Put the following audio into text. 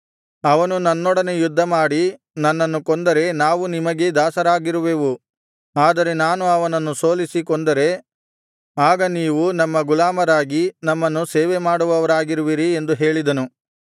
ಅವನು ನನ್ನೊಡನೆ ಯುದ್ಧಮಾಡಿ ನನ್ನನ್ನು ಕೊಂದರೆ ನಾವು ನಿಮಗೇ ದಾಸರಾಗಿರುವೆವು ಆದರೆ ನಾನು ಅವನನ್ನು ಸೋಲಿಸಿ ಕೊಂದರೆ ಆಗ ನೀವು ನಮ್ಮ ಗುಲಾಮರಾಗಿ ನಮ್ಮನ್ನು ಸೇವೆಮಾಡುವವರಾಗುವಿರಿ ಎಂದು ಹೇಳಿದನು